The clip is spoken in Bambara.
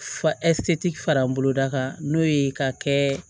Fa fara n boloda kan n'o ye ka kɛ